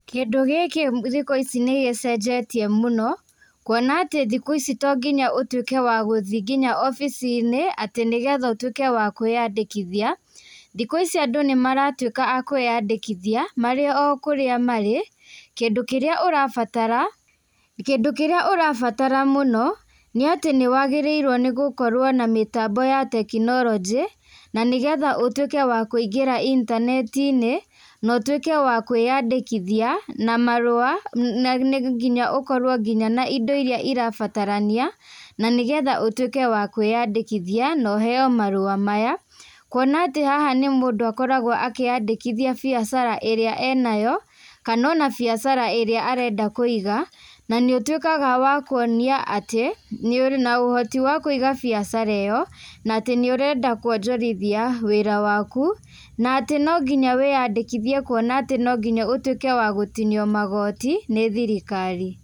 Kĩndũ gĩkĩ thĩku ĩcĩ nĩ gĩcenjetĩe mĩno, kũona atĩ thĩku ĩcĩ tongĩnya ũtũike wa gũthĩĩ ngĩnya obĩci-ĩnĩ ati nĩgetha ũtũike wa kwĩyandĩkĩthia.Thĩku ĩcĩ andũ nĩmaratũika a kwĩyandĩkĩthia marĩ oo kũria marĩ. Kĩndũ kĩrĩa ũrabatara mũno nĩ atĩ nĩ wagĩrĩĩrwo nĩ gũkorwo na mĩtambo ya teknolonjĩ, na nĩgetha ũtũike wa kũĩngira intaneti-ĩnĩ na ũtũike wa kwĩyandĩkĩthia na marũa na ngĩnya ũkorwo na ĩndo ĩrĩa ĩrabataranĩa na nĩgetha ũtũike wa kwĩyandĩkĩthia na ũheo marũa maya. Kũona atĩ haha nĩ mũndũ akoragwo akĩyandĩkĩthia bĩacara ĩrĩa enayo, kana ona bĩacara ĩrĩa arenda kũĩga na nĩ ũtũĩkaga wa kuonĩa atĩ nĩũri na ũhoti wa kũiga bĩacara ĩyo na atĩ nĩ ũrenda kũonjorĩthia wĩra wakũ, na atĩ no ngĩnya wiyandĩkĩthie gũtũika atĩ no ngĩnya ũtũike wa gũtĩnio magoti nĩ thĩrĩkari.